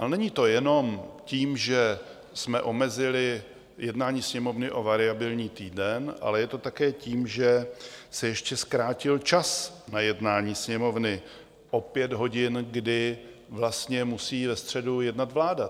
A není to jenom tím, že jsme omezili jednání Sněmovny o variabilní týden, ale je to také tím, že se ještě zkrátil čas na jednání Sněmovny o pět hodin, kdy vlastně musí ve středu jednat vláda.